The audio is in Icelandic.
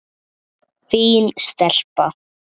Fín stelpa.